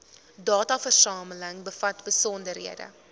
dataversameling bevat besonderhede